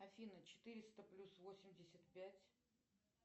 афина четыреста плюс восемьдесят пять